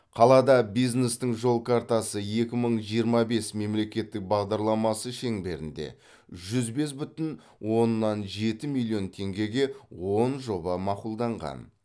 қалада бизнестің жол картасы екі мың жиырма бес мемлекеттік бағдарламасы шеңберінде жүз бес бүтін оннан жеті миллион теңгеге он жоба мақұлданған